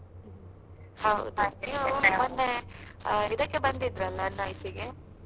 ಆ ಇದಕ್ಕೆ ಬಂದಿದ್ದ್ರಲ್ಲಾ NIC ಇಗೆ?